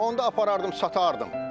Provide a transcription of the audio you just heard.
Onda aparardım satardım.